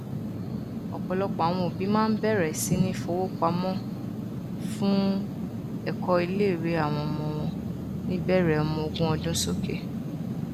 ọpọlọpọ àwọn òbí máa n bẹrẹ sí ní fowópamọfún ẹkọ iléìwé àwọn ọmọ wọn níbẹrẹ ọmọ ogún ọdún sókè